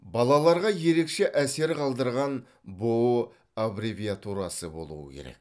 балаларға ерекше әсер қалдырған бұұ аббревиатурасы болуы керек